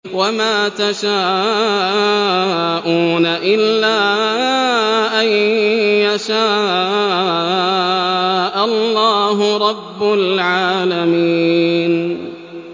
وَمَا تَشَاءُونَ إِلَّا أَن يَشَاءَ اللَّهُ رَبُّ الْعَالَمِينَ